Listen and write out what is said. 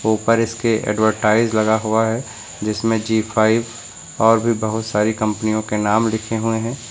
ऊपर इसके एडवर्टाइज लगा हुआ है जिसमें ज़ी फाइव और भी बहुत सारी कंपनियों के नाम लिखे हुए हैं।